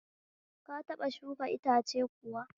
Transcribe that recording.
Ka taɓa shuka iatce kuwa?